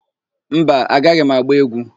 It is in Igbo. Mba, agaghị m agba égwú.